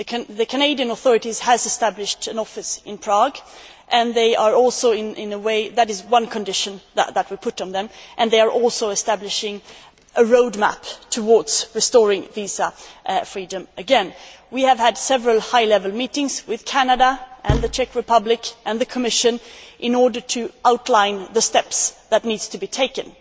The Canadian authorities have established an office in Prague that is one condition that we imposed on them and they are also establishing a roadmap towards restoring visa freedom again. We have had several high level meetings with Canada, the Czech Republic and the Commission in order to outline the steps that need to be taken.